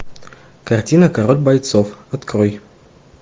картина король бойцов открой